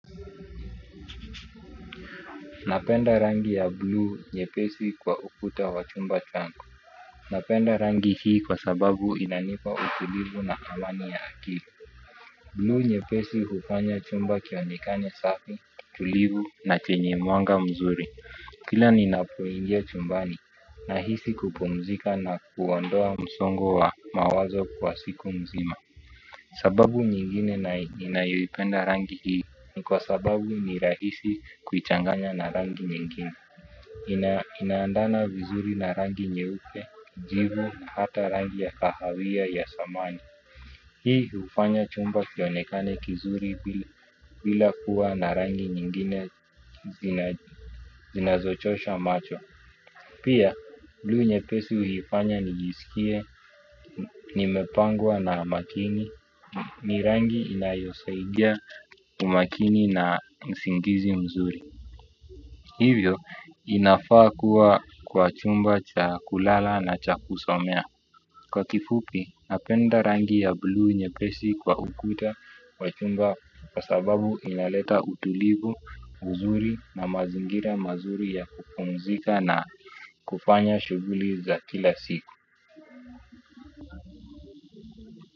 Napenda rangi ya buluu nyepesi kwa ukuta wa chumba changu. Napenda rangi hii kwa sababu inanipa utulivu na amani ya akili. Buluu nyepesi hufanya chumba kionekane safi tulivu na chenye mwanga mzuri. Kila ninapoingia chumbani nahisi kupumzika na kuondoa msongo wa mawazo kwa siku mzima. Sababu nyingine ninayoipenda rangi hii ni kwa sababu ni rahisi kuichanganya na rangi nyingine. Inaendana vizuri na rangi nyeupe, jivu na hata rangi ya kahawia ya samani. Hii hufanya chumba kionekane kizuri bila kuwa na rangi nyingine zinazochosha macho. Pia buluu nyepesi hunifanya nijisikie nimepangwa na makini. Ni rangi inayosaidia umakini na usingizi mzuri. Hivyo inafaa kuwa kwa chumba cha kulala na cha kusomea. Kwa kifupi, napenda rangi ya buluu nyepesi kwa ukuta wa chumba kwa sababu inaleta utulivu, uzuri na mazingira mazuri ya kupumzika na kufanya shughuli za kila siku.